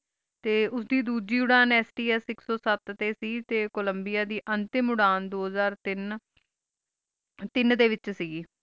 T ਦੁਦੇ ਡੋਜੀ ਉੜਾਨ STS ਆਇਕ ਸੋ ਸਤ ਸੀ ਸੇ ਕੋਲਾਮ੍ਬੇਯਾ ਅਨ੍ਤੇਮ ਉੜਾਨ ਦੋ ਹਾਜਰ ਤੀਨ ਤੀਨ ਡੀ ਵੇਚ ਸੇ ਗੇ